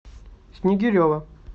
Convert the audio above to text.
снигирева